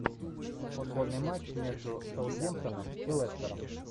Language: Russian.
футбольный матч между саутгемптоном и лестером